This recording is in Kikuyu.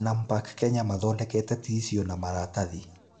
Nampak Kenya mathondeka ticiu na maratathi.